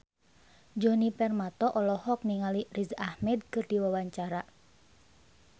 Djoni Permato olohok ningali Riz Ahmed keur diwawancara